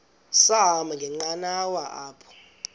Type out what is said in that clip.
sahamba ngenqanawa apha